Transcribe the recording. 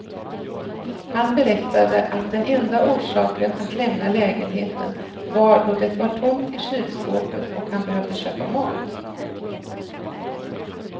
Han berättade att den enda orsaken att lämna lägenheten var då det var tomt i kylskåpet och han behövde köpa mat.